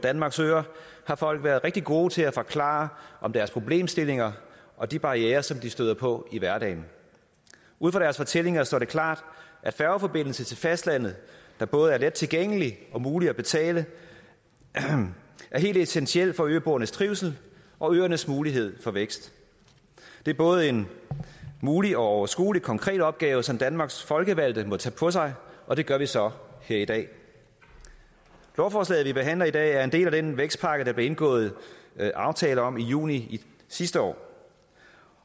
danmarks øer har folk været rigtig gode til at forklare om deres problemstillinger og de barrierer som de støder på i hverdagen ud fra deres fortællinger står det klart at færgeforbindelse til fastlandet der både er lettilgængelig og mulig at betale er helt essentiel for øboernes trivsel og øernes mulighed for vækst det er både en mulig og overskuelig konkret opgave som danmarks folkevalgte må tage på sig og det gør vi så her i dag lovforslaget vi behandler i dag er en del af den vækstpakke der blev indgået aftale om i juni sidste år